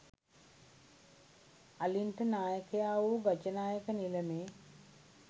අලින්ට නායකයා වූ ගජනායක නිලමේ